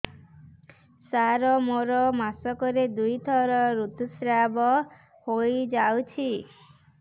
ସାର ମୋର ମାସକରେ ଦୁଇଥର ଋତୁସ୍ରାବ ହୋଇଯାଉଛି